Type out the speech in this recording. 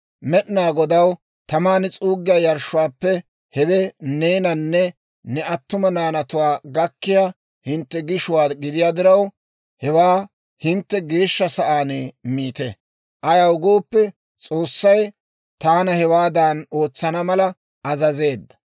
Med'inaa Godaw taman s'uuggiyaa yarshshuwaappe hewe neenanne ne attuma naanatuwaa gakkiyaa hintte gishuwaa gidiyaa diraw, hewaa hintte geeshsha sa'aan miite; ayaw gooppe, S'oossay taana hewaadan ootsana mala azazeedda.